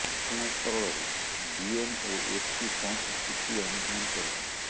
ଘଟଣାସ୍ଥଳରେ ଡିଏମ୍ ଓ ଏସପି ପହଞ୍ଚି ସ୍ଥିତି ଅନୁଧ୍ୟାନ କରିଛନ୍ତି